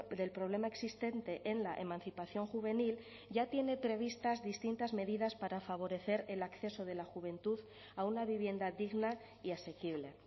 del problema existente en la emancipación juvenil ya tiene previstas distintas medidas para favorecer el acceso de la juventud a una vivienda digna y asequible